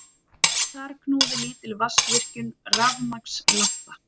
Þar knúði lítil vatnsvirkjun rafmagnslampa.